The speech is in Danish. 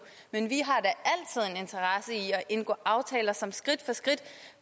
men vi i at indgå aftaler som skridt for skridt